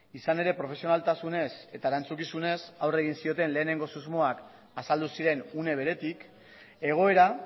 izan ere profesionaltasunez eta erantzukizunez aurre egin zioten lehenengo susmoak azaldu ziren une beretik egoera